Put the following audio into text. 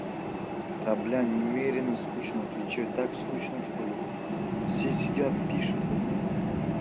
да бля немерено скучно отвечаю так скучно в школе все сидят пишут бля